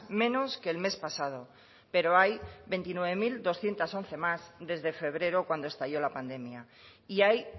menos que el mes pasado pero hay veintinueve mil doscientos once más desde febrero cuando estalló la pandemia y hay